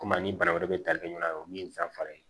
Komi ni bana wɛrɛ bɛ tali kɛ ɲɔgɔn na o ye min ye san fila ye